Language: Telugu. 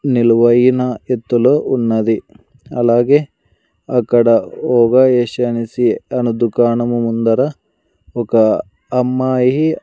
నిలువైన ఎత్తులో ఉన్నది అలాగే అక్కడ ఒగ యెషు అనేసి దుకాణము ముందర ఒక అమ్మాయి --